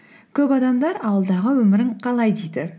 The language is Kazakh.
көп адамдар ауылдағы өмірің қалай дейді